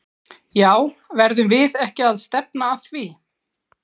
Já verðum við ekki að stefna að því?!